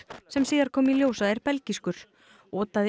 sem síðar kom í ljós að er belgískur otaði